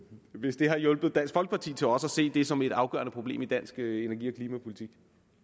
hvis det har hjulpet dansk folkeparti til også at se det som et afgørende problem i dansk energi og klimapolitik